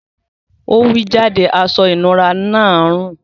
Ọ̀ wí jádẹ̀ àṣọ-ìnúrà náà ń rún.